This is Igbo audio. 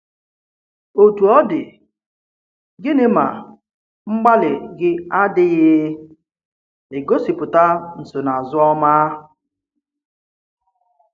Otú ọ dị, gịnị̀ ma mgbalị gị adịghị egosipụta nsonaazụ ọma?